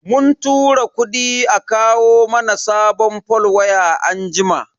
Mun tura kudi a kawo mana sabon fol waya anjima.